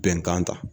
Bɛnkan ta